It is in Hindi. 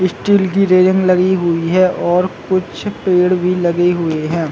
स्टील की रेलिंग लगी हुई है और कुछ पेड़ भी लगी हुई है।